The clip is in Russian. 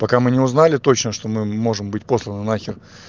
пока мы не узнали точно что мы можем быть посланы на хер